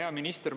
Hea minister!